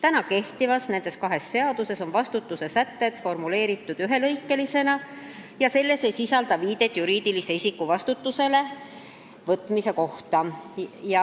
Nendes kahes kehtivas seaduses on vastutuse sätted formuleeritud ühelõikelisena ja need ei sisalda viidet juriidilise isiku vastutusele võtmise kohta.